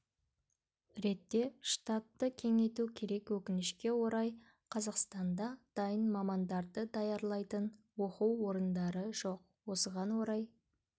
ретте штатты кеңейту керек өкінішке орай қазақстанда дайын мамандарды даярлайтын оқу орындары жоқ осыған орай